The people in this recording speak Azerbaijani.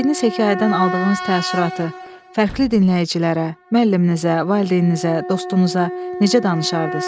Öyrəndiyiniz hekayədən aldığınız təəssüratı fərqli dinləyicilərə, müəlliminizə, valideyninizə, dostunuza necə danışardınız?